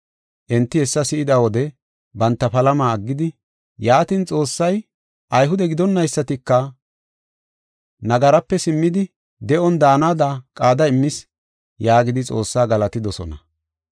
Enti hessa si7ida wode banta palama aggidi, “Yaatin, Xoossay Ayhude gidonaysatika nagarape simmidi de7on daanada qaada immis” yaagidi Xoossaa galatidosona.